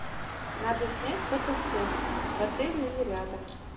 надо снять фотосет в отеле или рядом